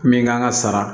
Min kan ka sara